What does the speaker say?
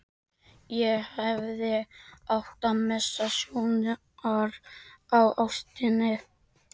Ég hefði átt að missa sjónar á ástinni.